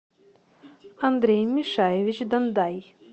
андрей мишаевич дандай